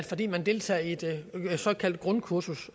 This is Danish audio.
fordi man deltager i et såkaldt grundkursus